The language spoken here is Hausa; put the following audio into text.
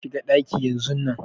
Je ka shiga ɗaki yanzun nan